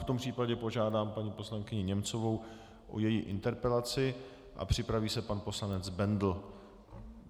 V tom případě požádám paní poslankyni Němcovou o její interpelaci a připraví se pan poslanec Bendl.